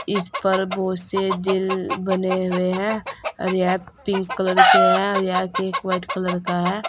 इस पर बहोत से दिल बने हुए हैं और यह पिंक कलर के हैं यह केक व्हाइट कलर का है।